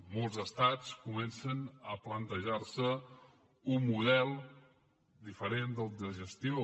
molts estats comencen a plantejar se un model diferent de gestió